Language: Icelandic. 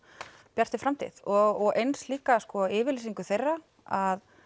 Bjartri framtíð og eins líka yfirlýsing þeirra að